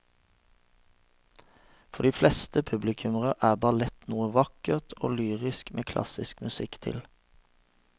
For de fleste publikummere er ballett noe vakkert og lyrisk med klassisk musikk til.